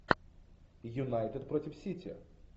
юнайтед против сити